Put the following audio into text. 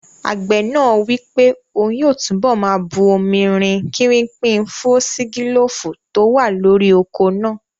Àgbẹ̀ náà wí pé òun yóò túnbọ̀ máa bu omi rin kírípìn fúọ́sígílófù tó wà lórí oko náà